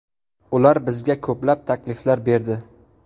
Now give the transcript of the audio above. Ular bizga ko‘plab takliflar berdi.